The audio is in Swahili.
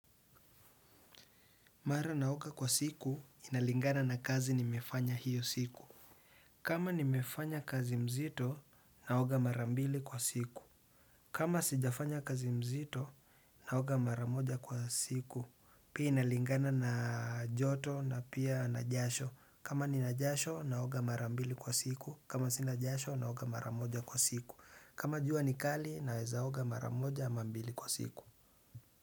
Mara naoga kwa siku, inalingana na kazi nimefanya hiyo siku. Kama nimefanya kazi mzito, naoga mara mbili kwa siku. Kama sijafanya kazi mzito, naoga mara moja kwa siku. Pii inalingana na joto na pia na jasho. Kama nina jasho, naoga mara mbili kwa siku. Kama sina jasho, naoga mara moja kwa siku. Kama jua ni kali, naezaoga mara moja, ama mbili kwa siku.